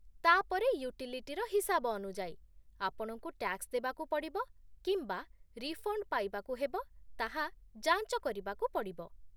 ତା'ପରେ, ୟୁଟିଲିଟିର ହିସାବ ଅନୁଯାୟୀ, ଆପଣଙ୍କୁ ଟ୍ୟାକ୍ସ ଦେବାକୁ ପଡ଼ିବ କିମ୍ବା ରିଫଣ୍ଡ ପାଇବାକୁ ହେବ ତାହା ଯାଞ୍ଚ କରିବାକୁ ପଡ଼ିବ